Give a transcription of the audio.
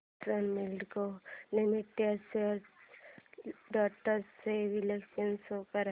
किसान moulding limited shares trends चे विश्लेषण show कर